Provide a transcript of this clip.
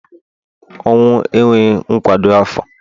ọnwụ enweghi nkwado afo